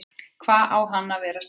Hva, á hann ekki að vera stærri?